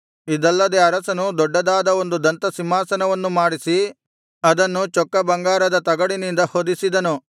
ಇದಲ್ಲದೆ ಅರಸನು ದೊಡ್ಡದಾದ ಒಂದು ದಂತ ಸಿಂಹಾಸನವನ್ನು ಮಾಡಿಸಿ ಅದನ್ನು ಚೊಕ್ಕ ಬಂಗಾರದ ತಗಡಿನಿಂದ ಹೊದಿಸಿದನು